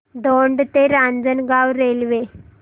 दौंड ते रांजणगाव रेल्वे